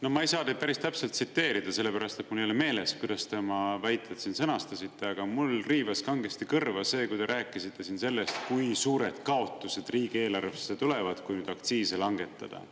No ma ei saa teid päris täpselt tsiteerida, sellepärast et mul ei ole meeles, kuidas te oma väited sõnastasite, aga mul riivas kangesti kõrva see, kui te rääkisite siin sellest, kui suured kaotused riigieelarvesse tulevad, kui nüüd aktsiise langetada.